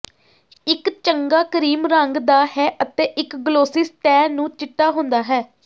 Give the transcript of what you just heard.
ਇੱਕ ਚੰਗਾ ਕਰੀਮ ਰੰਗ ਦਾ ਹੈ ਅਤੇ ਇੱਕ ਗਲੋਸੀ ਸਤਹ ਨੂੰ ਚਿੱਟਾ ਹੁੰਦਾ ਹੈ